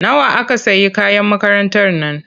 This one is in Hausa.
Nawa aka sayi kayan makarantar nan?